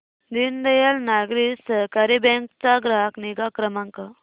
दीनदयाल नागरी सहकारी बँक चा ग्राहक निगा क्रमांक